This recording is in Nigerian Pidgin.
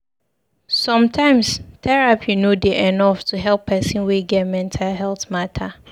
Sometimes terapi no dey enough to help pesin wey get mental healt mata.